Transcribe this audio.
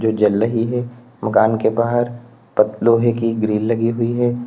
जल रही है मकान के बाहर प लोहे की ग्रिल लगी हुई है।